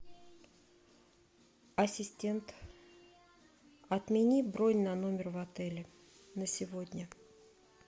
ассистент отмени бронь на номер в отеле на сегодня